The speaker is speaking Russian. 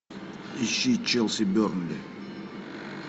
ищи челси бернли